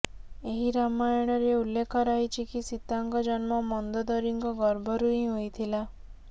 ଏହି ରାମାୟଣରେ ଉଲ୍ଲେଖ ରହିଛି କି ସୀତାଙ୍କ ଜନ୍ମ ମନ୍ଦୋଦରିଙ୍କ ଗର୍ଭରୁ ହିଁ ହୋଇଥିଲା